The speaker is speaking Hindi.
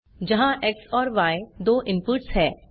जहाँ एक्स और य दो इनपुट्स हैं